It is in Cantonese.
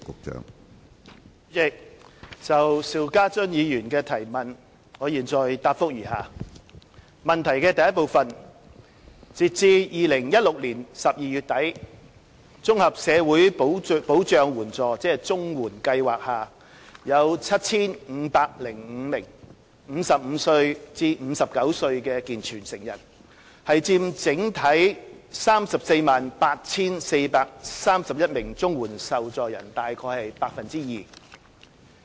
主席，就邵家臻議員的質詢，我現答覆如下：一截至2016年12月底，綜合社會保障援助計劃下有 7,505 名55至59歲健全成人，佔整體 348,431 名綜援受助人約 2%。